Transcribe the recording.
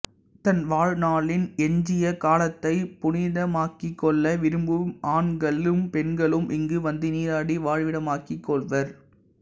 தன் வாழ்நாளின் எஞ்சிய காலத்தைப் புனிதமாக்கிக்கொள்ள விரும்பும் ஆண்களும் பெண்களும் இங்கு வந்து நீராடி வாழ்விடமாக்கிக் கொள்வர்